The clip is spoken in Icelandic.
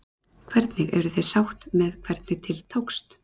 Hvernig, eruð þið sátt með hvernig til tókst?